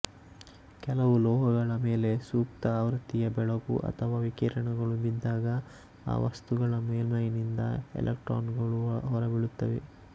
ಕೆಲವು ಲೋಹಗಳ ಮೇಲೆ ಸೂಕ್ತ ಆವೃತಿಯ ಬೆಳಕು ಅಥವ ವಿಕಿರಣಗಳು ಬಿದ್ದಾಗ ಆ ವಸ್ತುಗಳ ಮೇಲ್ಮೈನಿಂದ ಎಲೆಕ್ಟ್ರಾನುಗಳು ಹೊರಬೀಳುತ್ತವೆ